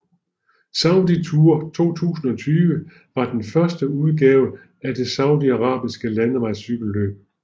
Saudi Tour 2020 var den første udgave af det saudiarabiske landevejscykelløb